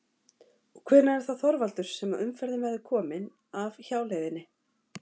Og hvenær er það Þorvaldur sem að umferðin verður komin af hjáleiðinni?